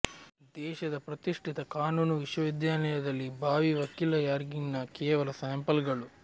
ದೇಶದ ಪ್ರತಿಷ್ಠಿತ ಕಾನೂನು ವಿಶ್ವವಿದ್ಯಾನಿಲಯದಲ್ಲಿ ಭಾವಿ ವಕೀಲರ ರ್ಯಾಗಿಂಗ್ನ ಕೆಲ ಸ್ಯಾಂಪಲ್ಗಳು